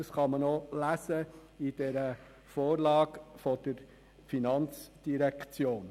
Das kann man auch in der Vorlage der FIN nachlesen.